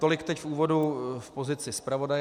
Tolik teď v úvodu v pozici zpravodaje.